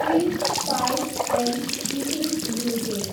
prince Pipes and Fittings limited